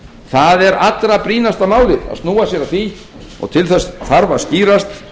það er allra brýnasta málið að snúa sér að því og til þess þarf að skýrast